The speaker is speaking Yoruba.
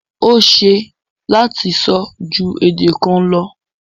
O ṣẹ lati sọ̀ ju èdè kàn lọ